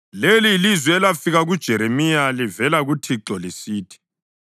Leli yilizwi elafika kuJeremiya livela kuThixo lisithi: